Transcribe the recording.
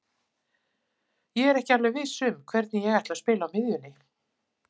Ég er ekki alveg viss um hvernig ég ætla að spila á miðjunni.